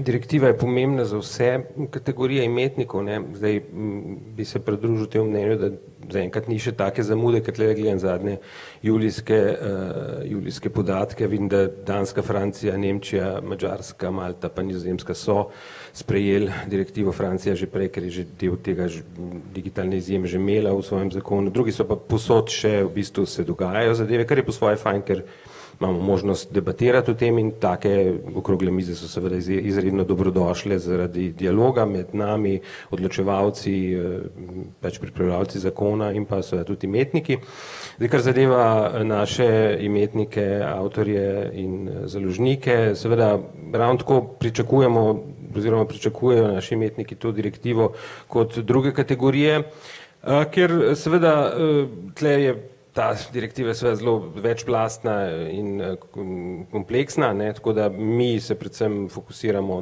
direktiva je pomembna za vse, kategorije imetnikov, ne, zdaj, v bi se pridružil temu mnenju, da zaenkrat ni še take zamude, ke tulele gledam zadnje julijske, julijske podatke, vidim, da Danska, Francija, Nemčija, Madžarska, Malta pa Nizozemska so sprejeli direktivo. Francija že prej, ker je že del tega že, digitalni že imela v svojem zakonu, drugi so pa povsod še v bistvu se dogajajo zadeve, kar je po svoje fajn, ker imamo možnost debatirati o tem, in take okrogle mize so seveda izredno dobrodošle zaradi dialoga med nami, odločevalci, pač pripravljalci zakona in pa seveda tudi imetniki. Zdaj, kar zadeva, naše imetnike, avtorje in, založnike, seveda ravno tako pričakujemo oziroma pričakujejo naši imetniki to direktivo kot druge kategorije, ker seveda, tule je ta direktiva seveda zelo večplastna in, ko, kompleksna, ne, tako da mi se predvsem fokusiramo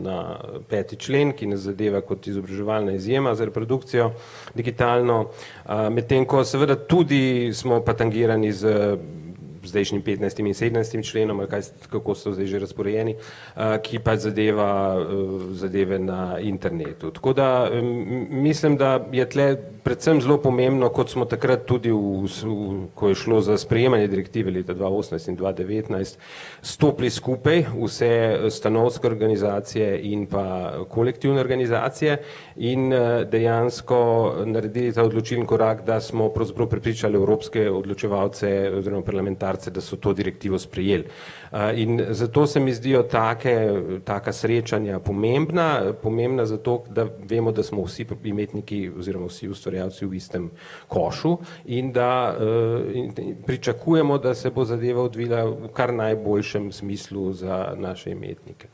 na, peti člen, ki nas zadeva kot izobraževalna izjema za reprodukcijo digitalno, medtem ko seveda tudi smo pa tangirani z zdajšnjim petnajstim in sedemnajstim členom ali kaj, kako so zdaj že razporejeni. ki pa zadeva, zadeve na internetu, tako da, mislim, da je tule predvsem zelo pomembno, kot smo takrat tudi ko je šlo za sprejeme direktive leta dva osemnajst in dva devetnajst stopili skupaj, vse, stanovske organizacije in pa, kolektivne organizacije in, dejansko, naredili ta odločilni korak, da smo pravzaprav prepričali evropske odločevalce oziroma parlamentarce, da so to direktivo sprejeli. in zato se mi zdijo take, taka srečanja pomembna, pomembna zato, da vemo, da smo vsi imetniki oziroma vsi ustvarjalci v istem košu in da, pričakujemo, da se bo zadeva odvila v kar najboljšem smislu za naše imetnike.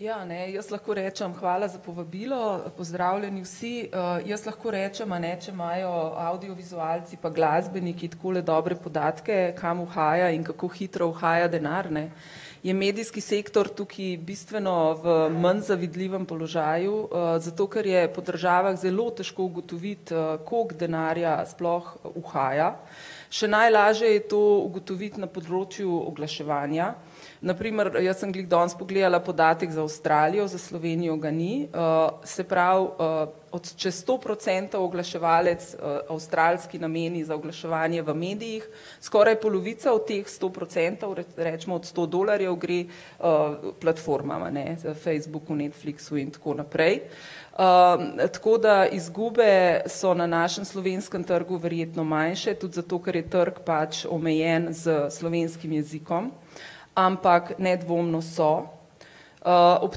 Ja, ne, jaz lahko rečem, hvala za povabilo. Pozdravljeni vsi, jaz lahko rečem, a ne, če imajo avdiovizualci pa glasbeniki takole dobre podatke, kam uhaja in kako hitro uhaja denar, ne. Je medijski sektor tukaj bistveno v manj zavidljivem položaju, zato, ker je po državah zelo težko ugotoviti, koliko denarja sploh uhaja. Še najlažje je to ugotoviti na področju oglaševanja, na primer jaz sem glih danes pogledala podatek za Avstralijo, za Slovenijo ga ni, se pravi, od čez sto procentov oglaševalec, avstralski nameni za oglaševanje v medijih, skoraj polovica od teh sto procentov recimo od sto dolarjev gre, platformam, a ne, Facebooku, Netflixu in tako naprej. tako da izgube so na našem slovenskem trgu verjetno manjše tudi zato, ker je trg pač omejen s slovenskim jezikom, ampak nedvomno so, ob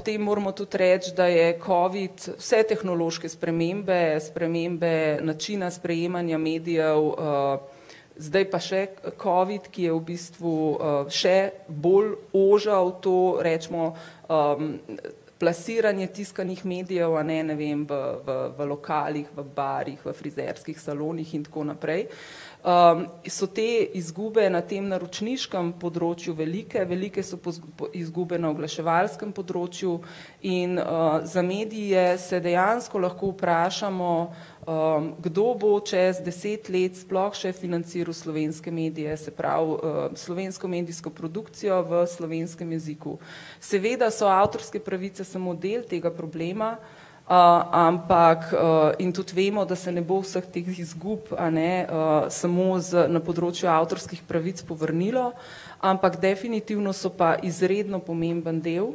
tem moramo tudi reči, da je covid vse tehnološke spremembe, spremembe načina sprejemanja medijev, zdaj pa še covid, ki je v bistvu, še bolj ožal to, recimo, plasiranje tiskanih medijev, a ne, ne vem, v, v lokalih, v barih, v frizerskih salonih in tako naprej. so te izgube na tem naročniškem področju velike, velike so po, po izgube na oglaševalskem področju in, za medije se dejansko lahko vprašamo, kdo bo čez deset let sploh še financiral slovenske medije, se pravi, slovensko medijsko produkcijo v slovenskem jeziku. Seveda so avtorske pravice samo del tega problema, ampak, in tudi vemo, da se ne bo vseh teh izgub, a ne, samo za na področju avtorskih pravic povrnilo, ampak definitivno so pa izredno pomemben del,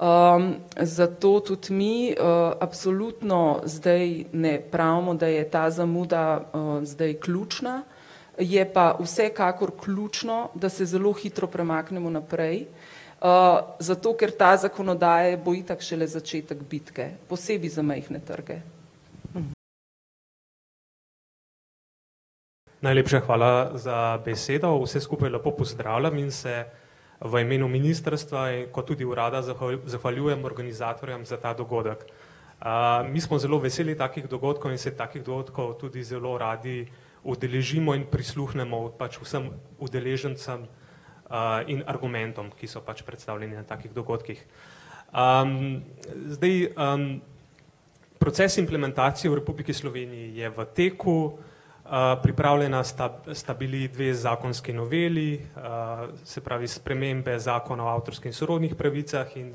zato tudi mi, absolutno zdaj ne pravimo, da je ta zamuda, zdaj ključna, je pa vsekakor ključno, da se zelo hitro premaknemo naprej, zato, ker ta zakonodaja bo itak šele začetek bitke, posebej za majhne trge. Najepša hvala za besedo, vse skupaj lepo pozdravljam in se v imenu ministrstva kot tudi urada zahvaljujem organizatorjem za ta dogodek. mi smo zelo veseli takih dogodkov in se takih dogodkov tudi zelo radi udeležimo in prisluhnemo pač vsem udeležencem, in argumentom, ki so pač predstavljeni na takih dogodkih. zdaj, proces implementacije v Republiki Sloveniji je v teku, pripravljena sta sta bili dve zakonski noveli, se pravi, spremembe zakona o avtorskih in sorodnih pravicah in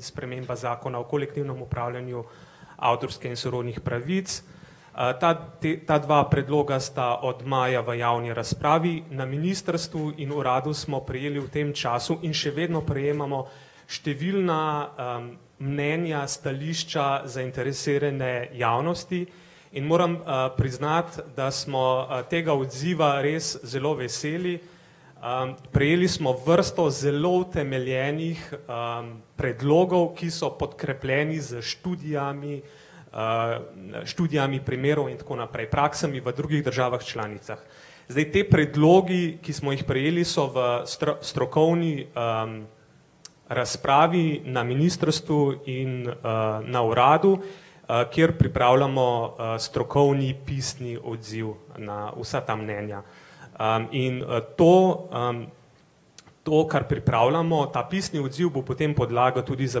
sprememba zakona o kolektivnem upravljanju avtorskih in sorodnih pravic. ta te ta dva predloga sta od maja v javni razpravi na ministrstvu in uradu smo prejeli v tem času in še vedno prejemamo številna, mnenja, stališča zainteresirane javnosti in moram, priznati, da smo, tega odziva res zelo veseli, prejeli smo vrsto zelo utemeljenih, predlogov, ki so podkrepljeni s študijami, študijami primerov in tako naprej, praksami v drugih državah članicah. Zdaj ti predlogi, ki smo jih prejeli, so v strokovni, razpravi na ministrstvu in, na uradu, kjer pripravljamo, strokovni pisni odziv na vsa ta mnenja, in to, to, kar pripravljamo, ta pisni odziv, bo potem podlaga tudi za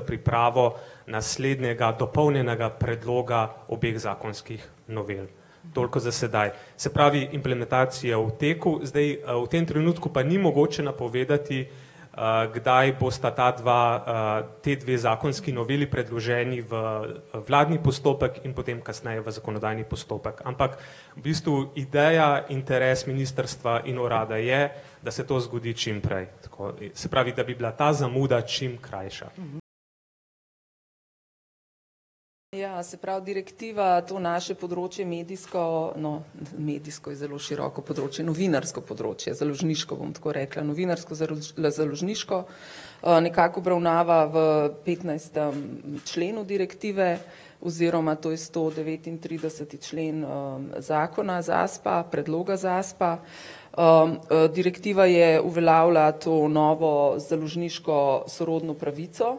pripravo naslednjega, dopolnjenega predloga obeh zakonskih novel. Toliko za sedaj, se pravi implementacija v teku, zdaj, v tem trenutku pa ni mogoče napovedati, kdaj bosta ta dva, te dve zakonski noveli predloženi v, vladni postopek in potem kasneje v zakonodajni postopek, ampak v bistvu ideja, interes ministrstva in urada je, da se to zgodi čimprej tako, se pravi, da bi bila ta zamuda čim krajša. Ja, se pravi direktiva to naše področje medijsko, no, medijsko je zelo široko področje, novinarsko področje, založniško, bom tako rekla, novinarsko založniško nekako obravnava v petnajstem členu direktive, oziroma to je sto devetintrideseti člen, zakona ZASP-a, predloga ZASP-a. direktiva je uveljavila to novo založniško sorodno pravico,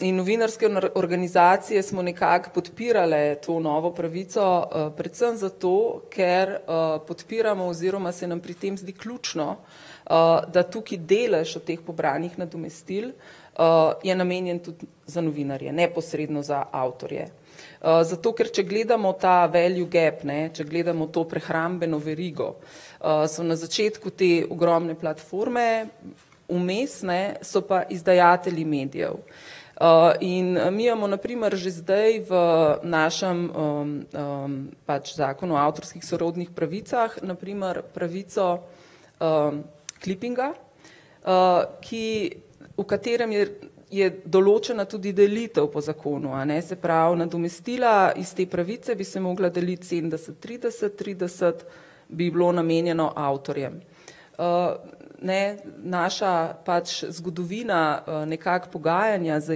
in novinarske organizacije smo nekako podpirale to novo pravico, predvsem zato, ker, podpiramo, oziroma se nam pri tem zdi ključno, da tukaj delež od teh pobranih nadomestil, je namenjen tudi za novinarje, neposredno za avtorje. zato, ker če gledamo ta value gap, ne, če gledamo to prehrambeno verigo, so na začetku te ogromne platforme, vmes, ne, so pa izdajatelji medijev. in, mi imamo na primer že zdaj v našem, pač zakonu o avtorskih sorodnih pravicah, na primer pravico, klipinga, ki, v katerem je, je določena tudi delitev po zakonu, a ne, se pravi nadomestila iz te pravice bi se mogla deliti sedemdeset, trideset, trideset bi bilo namenjeno avtorjem. ne, naša pač zgodovina, nekako pogajanja z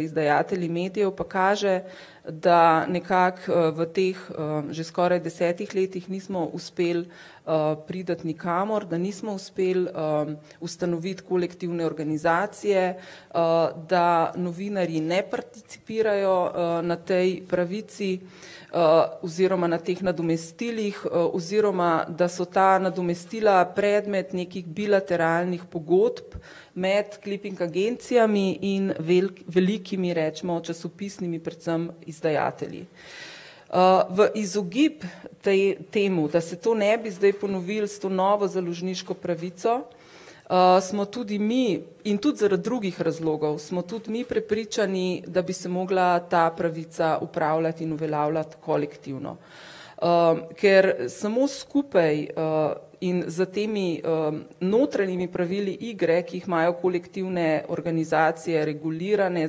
izdajatelji medijev pa kaže, da nekako, v teh, že skoraj desetih letih nismo uspeli, priti nikamor, da nismo uspeli, ustanoviti kolektivne organizacije, da novinarji ne participirajo, na tej pravici, oziroma na teh nadomestilih, oziroma, da so ta nadomestila predmet nekih bilateralnih pogodb med kliping agencijami in velikimi recimo časopisnimi predvsem izdajatelji. v izogib tej, temu, da se to ne bi zdaj ponovilo s to novo založniško pravico, smo tudi mi in tudi zaradi drugih razlogov, smo tudi mi prepričani, da bi se mogla ta pravica upravljati in uveljavljati kolektivno. ker samo skupaj, in za temi, notranjimi pravili igre, ki jih imajo kolektivne organizacije regulirane,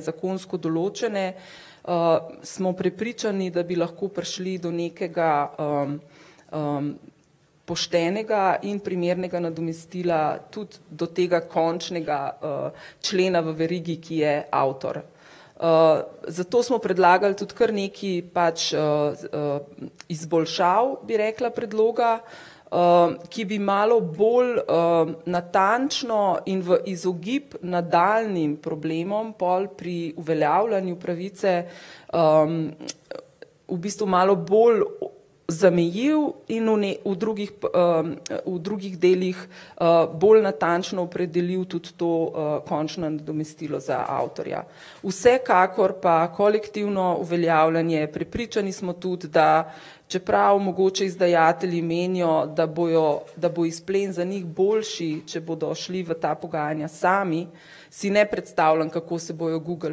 zakonsko določene, smo prepričani, da bi lahko prišli do nekega, poštenega in primernega nadomestila, tudi do tega končnega, člena v verigi, ki je avtor. zato smo predlagali tudi kar nekaj pač, izboljšav, bi rekla, predloga, ki bi malo bolj, natančno in v izogib nadaljnjim problemom pol pri uveljavljanju pravice, v bistvu malo bolj zamejil in v v drugih, v drugih delih, bolj natančno opredelil tudi to, končno nadomestilo za avtorja. Vsekakor pa kolektivno uveljavljanje, prepričani smo tudi, da čeprav mogoče izdajatelji menijo, da bojo, da bo izplen za njih boljši, če bodo šli v ta pogajanja sami, si ne predstavljam, kako se bojo Google,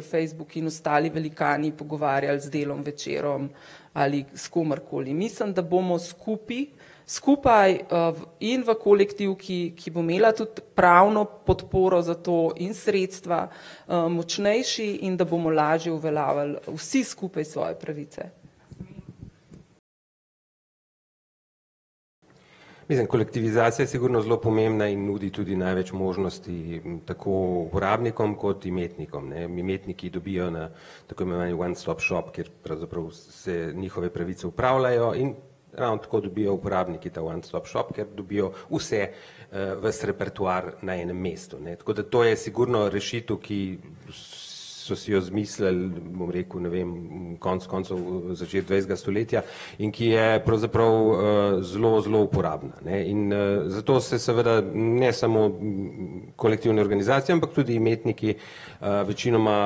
Facebook in ostali velikani pogovarjali z Delom, Večerom ali s komerkoli, mislim, da bomo skupaj, skupaj, in v kolektivki, ki bo imela tudi pravno podporo za to in sredstva, močnejši, in da bom lažje uveljavljali vsi skupaj svoje pravice. Mislim, kolektivizacija je sigurno zelo pomembna in nudi tudi največ možnosti tako uporabnikom kot imetnikom, ne. Imetniki dobijo na tako imenovani on stop shop, kjer pravzaprav se njihove pravice upravljajo in, tako dobijo uporabniki ta on stop shop, kjer dobijo vse, ves repertoar na enem mestu, to je sigurno rešitev, ki so si jo izmislili, bom rekel, ne vem, konec koncev v začetku dvajsetega stoletja in ki je pravzaprav, zelo, zelo uporabna, ne, in zato se seveda ne samo, kolektivne organizacije, ampak tudi imetniki, večinoma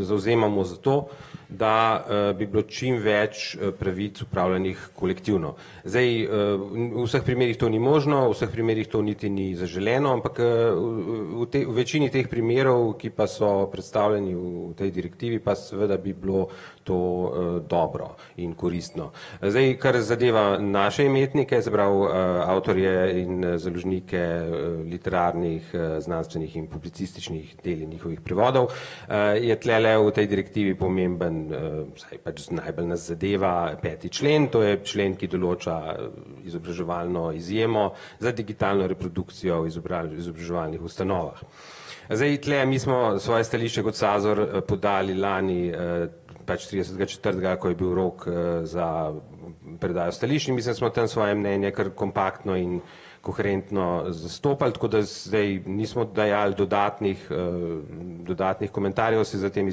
zavzemamo zato, da, bi bilo čimveč, pravic upravljanih kolektivno. Zdaj, v vseh primerih to ni možno, v vseh primerih to niti ni zaželeno, ampak, v tej, v večini teh primerov, ki pa so predstavljeni v tej direktivi, pa seveda bi bilo to, dobro in koristno. zdaj, kar zadeva naše imetnike, se pravi, avtorje in založnike, literarnih, znanstvenih in publicističnih del in njihovih prevodov, je tulele v tej direktivi pomembno, vsaj pač najbolj nas zadeva peti člen, to je člen, ki določa izobraževalno izjemo za digitalno reprodukcijo v izobraževalnih ustanovah. Zdaj tule mi smo svoje stališče kot Sazor podali lani pač tridesetega četrtega, ko je bil rok, za predajo stališč, mislim, smo tam svoje mnenja kar kompaktno in koherentno zastopali, tako da zdaj nismo dajali dodatnih, dodatnih komentarjev, saj za temi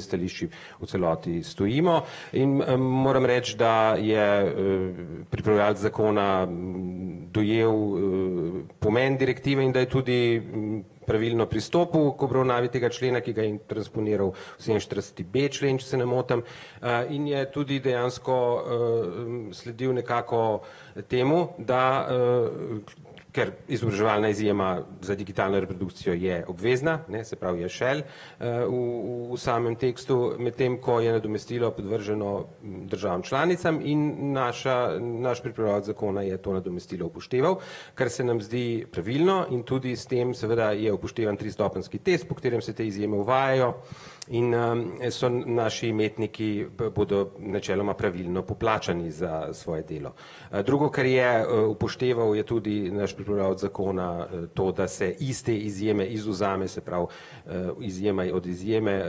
stališči v celoti stojimo in, moram reči, da je, pripravljalec zakona dojel pomen direktive in da je tudi pravilno pristopil k obravnavi tega člena, ki ga je transponiral sedeminštiridesetib člen, če se ne motim. in je tudi dejansko, sledil nekako temu, da, ker izobraževalna izjema za digitalno reprodukcijo je obvezna, ne, se pravi, je šel, v, v, v samem tekstu, medtem ko je nadomestilo podvrženo državam članicam in naša, naš pripravljalec zakona je to nadomestilo upošteval, kar se nam zdi pravilno, in tudi s tem seveda je upoštevan tristopenjski test, po katerem se te izjeme uvajajo in, so naši imetniki bodo načeloma pravilno poplačani za svoje delo. drugo, kar je, upošteval je tudi naš pripravljalec zakona, to, da se iste izjeme izvzame, se pravi, izjema je od izjeme,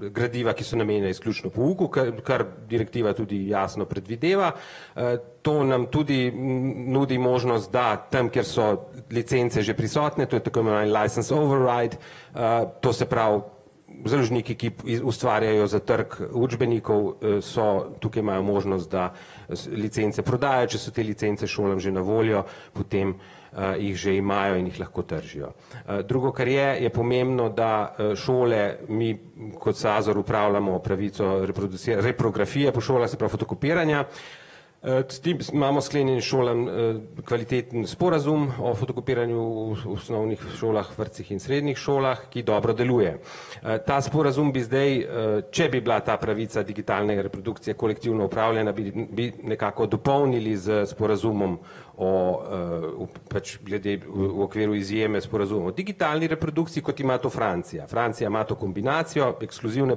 gradiva, ki so namenjena izključno pouku, kar, kar direktiva tudi jasno predvideva, to nam tudi nudi možnost, da, tam, kjer so licence že prisotne, to je tako imenovani licence over right. to se pravi založniki, ki ustvarjajo za trg učbenikov, so, tukaj imajo možnost, da licence prodajo, če so te licence šolam že na voljo, potem jih že imajo in jih lahko tržijo. drugo, kar je, je pomembno, da, šole mi kot Sazor upravljamo pravico reprografije po šolah, se pravi fotokopiranja, imamo sklenjen s šolami, kvaliteten sporazum o fotokopiranju v osnovnih šolah, vrtcih in srednjih šolah, ki dobro deluje. ta sporazum bi zdaj, če bi bila ta pravica digitalne reprodukcije kolektivno upravljana, bi, bi nekako dopolnili z sporazumom o, o pač glede v okviru izjeme sporazuma o digitalni reprodukciji, kot ima to Francija. Francija ima to kombinacijo ekskluzivne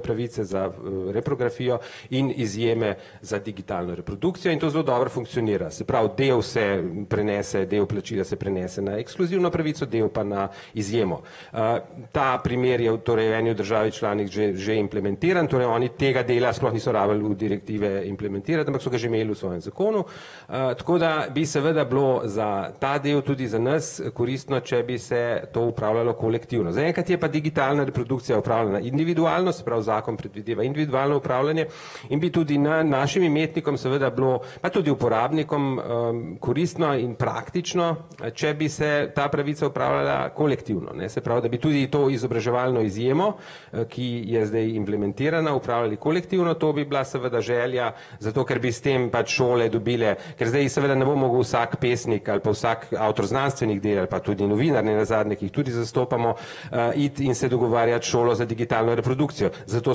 pravice za reprografijo in izjeme za digitalno reprodukcijo in to zelo dobro funkcionira, se pravi, del se prenese, del plačila se prenese na ekskluzivno pravico, del pa na izjemo. ta primer je torej v eni od države članic že, že implementiran, torej oni tega dela sploh niso rabili direktive implementirati, ampak so ga že imeli v svojem zakonu. tako da bi seveda bilo za ta del tudi za nas koristno, če bi se to upravljalo kolektivno, zaenkrat je pa digitalna reprodukcija upravljana individualno, se pravi, zakon predvideva individualno upravljanje in bi tudi, ne vem, našim umetnikom tudi bilo pa tudi uporabnikom, koristno in praktično, če bi se ta pravica upravljala kolektivno, ne, se pravi, da tudi to izobraževalno izjemo, ki je zdaj implementirana, upravljali kolektivno, to bi bila seveda želja, zato ker bi s tem pač šole dobile, ker zdaj seveda ne bo mogel vsak pesnik ali pa vsak avtor znanstvenih del ali pa tudi novinar nenazadnje, ki jih tudi zastopamo, iti in se dogovarjati s šolo za digitalno reprodukcijo, zato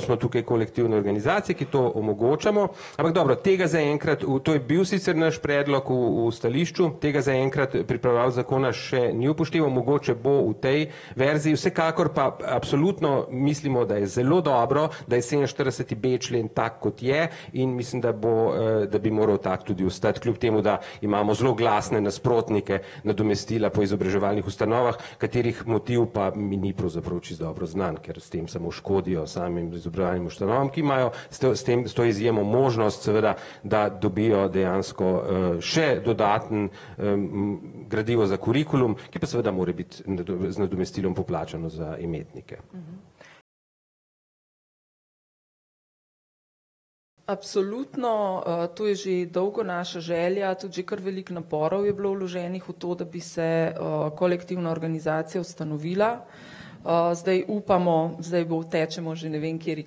smo tukaj v kolektivni organizaciji, ki to omogočamo, ampak dobro, tega zaenkrat v, to je bil sicer naš predlog v, v stališču, tega zaenkrat pripravljalec zakona še ni upošteval mogoče bo v tej verziji, vsekakor pa absolutno mislimo, da je zelo dobro, da je sedeminštiridesetib člen tak, kot je, in mislim, da bo, da bi moral tak tudi ostati, kljub temu da imamo zelo glasne nasprotnike, nadomestila po izobraževalnih ustanovah, katerih motiv pa mi ni pravzaprav čisto dobro znan, ker s tem samo škodijo samim izobraževalnim ustanovam, ki imajo s s tem, s to izjemo možnost seveda, da dobijo dejansko, še dodatno, gradivo za kurikulum, ki pa seveda mora biti z nadomestilom poplačano za imetnike. Absolutno, to je že dolgo naša želja tudi že kar veliko naporov je bilo vloženih v to, da bi se, kolektivna organizacija ustanovila. zdaj upamo, zdaj bo, tečemo že ne vem kateri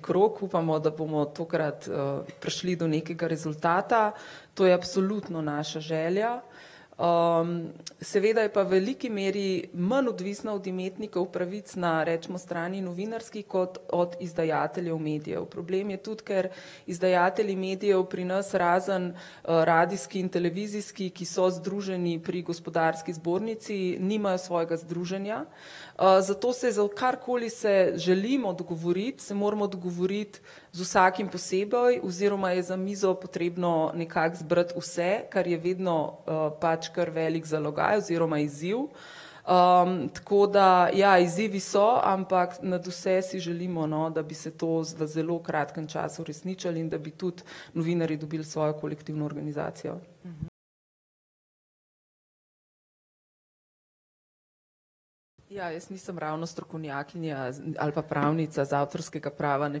krog, upamo, da bomo tokrat, prišli do nekega rezultata, to je absolutno naša želja. seveda pa je v veliki meri manj odvisna od imetnikov pravic na recimo strani novinarski kot od izdajateljev medijev, problem je tudi, ker izdajatelji medijev pri nas, razen, radijski in televizijski, ki so združeni pri gospodarski zbornici, nimajo svojega združenja, zato se za karkoli se želimo dogovoriti, se moramo dogovoriti z vsakim posebej oziroma je za mizo potrebno nekako zbrati vse, kar je vedno, pač kar velik zalogaj oziroma izziv. tako da, ja, izzivi so, ampak nadvse si želimo, no, da bi se to v zelo kratkem času uresničilo in da bi tudi novinarji dobili svojo kolektivno organizacijo. Ja, jaz nisem ravno strokovnjakinja ali pa pravnica z avtorskega prava, ne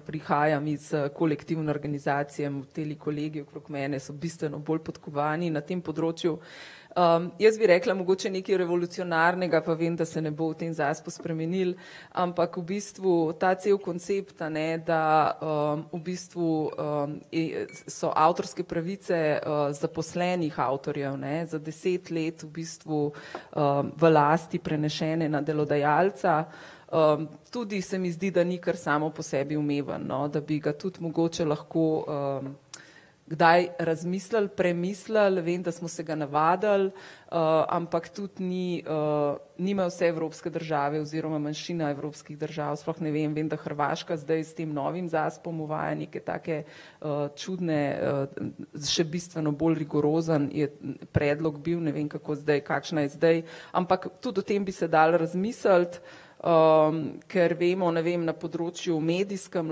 prihajam iz, kolektivne organizacije, teli kolegi okrog mene so bistveno bolj podkovani na tem področju. jaz bi rekla mogoče nekaj revolucionarnega, pa vem, da se ne bo v tem ZASP-u spremenilo, ampak v bistvu ta cel koncept, a ne, da, v bistvu, so avtorske pravice, zaposlenih avtorjev, ne, za deset let v bistvu, v lasti prenesene na delodajalca. tudi se mi zdi, da ni kar samo po sebi umevno, no, da bi ga tudi mogoče lahko, kdaj razmislili, premislili, vem, da smo se ga navadili, ampak tudi ni, nimajo vse evropske države oziroma manjšina evropskih držav, sploh ne vem. Vem, da Hrvaška zdaj s tem novim ZASP-om uvaja neke take, čudne še bistveno bolj rigorozen je predlog bil, ne vem, kako zdaj, kakšna je zdaj, ampak tudi o tem bi se dalo razmisliti, ker vemo, ne vem, na področju medijskem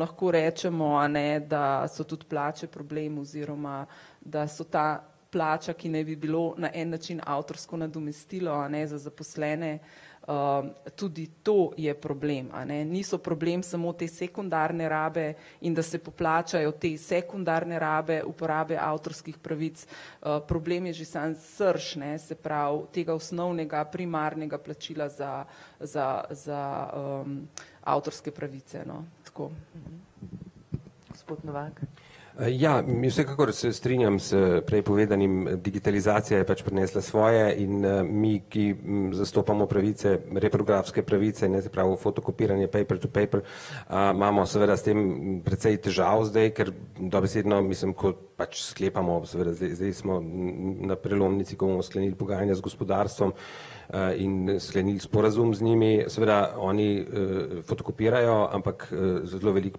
lahko rečemo, a ne, da so tudi plače problem, oziroma, da so ta plača, ki naj bi bilo na en način avtorsko nadomestilo, a ne, za zaposlene, tudi to je problem, a ne. Niso problem samo te sekundarne rabe in da se poplačajo te sekundarne rabe, uporabe avtorskih pravic. problem je že sam srž, se pravi, tega osnovnega primarnega plačila za za, za, avtorske pravice, no, tako. ja, vsekakor se strinjam s prej povedanim. Digitalizacija je pač prinesla svoje in, mi, ki zastopamo pravice reprografske pravice, ne, se pravi fotokopiranje paper to paper, imamo seveda s tem precej težav zdaj, ker dobesedno mislim, ke pač sklepamo, seveda, zdaj smo na prelomnici, ko bomo sklenili pogajanja z gospodarstvom, in sklenili sporazum z njimi, seveda oni, fotokopirajo, ampak zelo veliko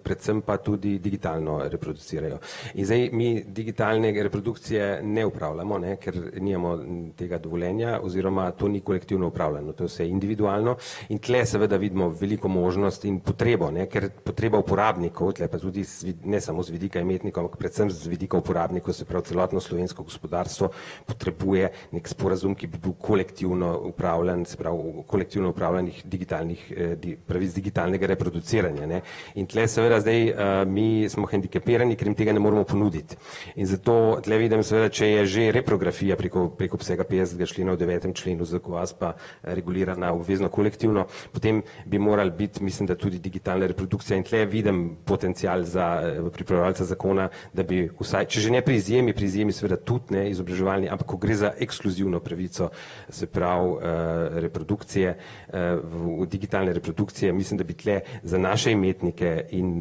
predvsem pa tudi digitalno reproducirajo. In zdaj mi digitalne reprodukcije ne upravljamo, ne, ker nimamo tega dovoljenja oziroma to ni kolektivno upravljanje, to je vse individualno, in tule seveda vidimo, veliko možnost in potrebo, ker, ne, potreba uporabnikov, tule pa tudi, ne samo z vidika imetnikov, ampak predvsem z vidika uporabnikov, se pravi celotno slovensko gospodarstvo potrebuje neki sporazum, ki bi bil kolektivno upravljan, se pravi kolektivno upravljanih digitalnih, pravic digitalnega reproduciranja. In tule seveda zdaj mi smo hendikepirani, ker jim tega ne moremo ponuditi in zato tule vidim seveda, če je že reprografija preko, preko obsega petdesetega člena v devetem členu , regulirana obvezno kolektivno, potem bi moral biti, mislim, da tudi digitalna reprodukcija, in tule vidim potencial za, pripravljalca zakona, da bi vsaj, če že ne pri izjemi, pri izjemi seveda tudi, ne izobraževanje, ampak ko gre za ekskluzivno pravico, se pravi, reprodukcije, v digitalne reprodukcije. Mislim, da bi tule za naše imetnike in